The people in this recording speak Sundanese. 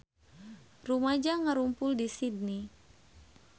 Rumaja ngarumpul di Sydney